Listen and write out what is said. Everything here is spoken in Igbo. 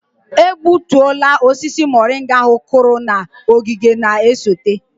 A gbutuola osisi moringa ahu kụrụ na ogige na-esote.